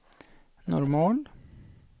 normal